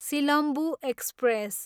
Silambu express